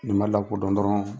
Ni ma lakodɔn dɔrɔn